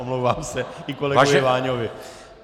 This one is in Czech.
Omlouvám se, i kolegovi Váňovi.